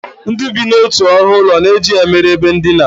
Ndị bi n'otu ọnụụlọ na-eji ya mere ebe ndina